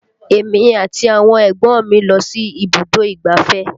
Èmi àti àwọn ẹ̀gbọ́n mi lọ sí ibùdó ìgbáfẹ́